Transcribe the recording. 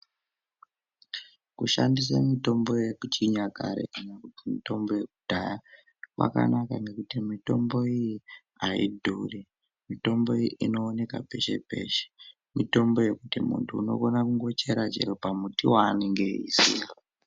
Kushandise mitombo yekuchinyakare kana kuti mitombo yekudhaya kwakanaka ngekuti mitombo iyi ayidhuri, mintombo iyi inooneka peshe peshe, mitombo yekuti muntu unokona kungochera pamuti waanenge eiziya.